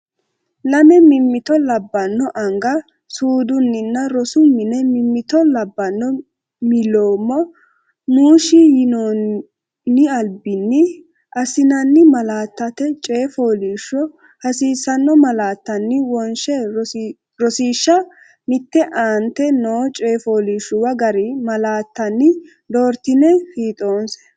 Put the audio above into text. Lame mimmito labbanno anga suudinninna rosu mine mimmito Labbanno millimmo muushshi yinoon- albinni assinanni malaateeti Coyi fooliishshu- hasiissanno malaattanni wonsha Rosiishsha Mite Aante noo coyi fooliishshuwa gari malaattanni doortine fiixoonse.